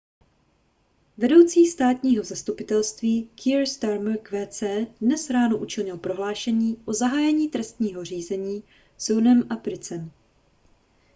vedoucí státního zastupitelství kier starmer qc dnes ráno učinil prohlášení o zahájení trestního řízení s huhnem i prycem